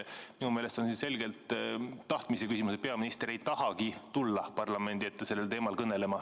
Minu meelest on see selgelt tahtmise küsimus, et peaminister ei tahagi tulla parlamendi ette sellel teemal kõnelema.